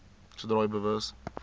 sodra u bewus